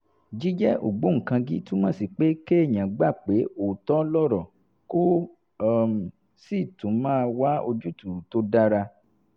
jíjẹ́ ògbóǹkangí túmọ̀ sí pé kéèyàn gbà pé òótọ́ lọ̀rọ̀ kó um sì tún máa wá ojútùú tó dára